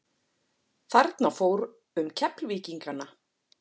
Þarna fór um Keflvíkingana.